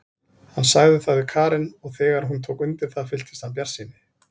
Hann sagði það við Karen og þegar hún tók undir það fylltist hann bjartsýni.